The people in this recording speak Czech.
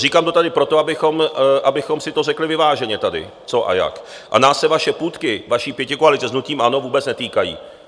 Říkám to tady proto, abychom si to řekli vyváženě tady, co a jak, a nás se vaše půtky, vaší pětikoalice s hnutím ANO, vůbec netýkají.